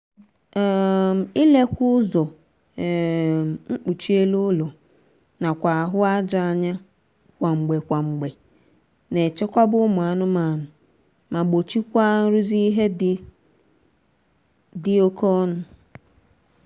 um ilekwa ụzọ um mkpuchi elu ụlọ nakwa ahụ aja anya kwa mgbe kwa mgbe na-echekwaba ụmụ anụmaanụ ma gbochikwaa nrụzi ihe dị dị oké ọnụ